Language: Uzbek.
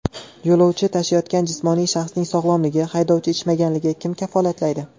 Yo‘lovchi tashiyotgan jismoniy shaxsning sog‘lomligi, haydovchi ichmaganligini kim kafolatlaydi?